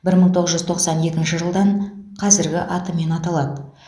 бір мың тоғыз жүз тоқсан екінші жылдан қазіргі атымен аталады